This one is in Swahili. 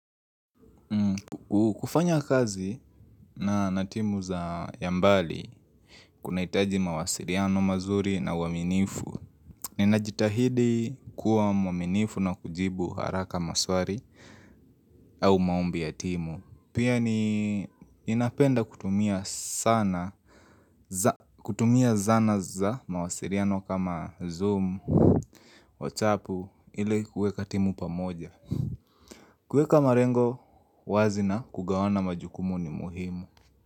Kufanya kazi na timu za ya mbali kuna hitaji mawasiliano mazuri na uwaminifu Ninajitahidi kuwa mwaminifu na kujibu haraka maswali au maombi ya timu. Pia ninapenda kutumia zana za mawasiliano kama zoom, whatsup ili kuweka timu pamoja. Kuweka malengo wazi na kugawana majukumu ni muhimu.